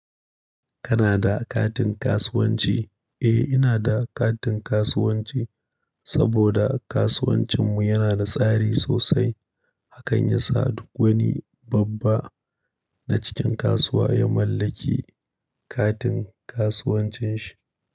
Kana da katin kasuwanci? Eh, ina da katin kasuwanci saboda kasuwancinmu yana da tsari sosai, hakan ya sa duk wani babba na cikin kasuwa ya mallaki katin kasuwancin shi.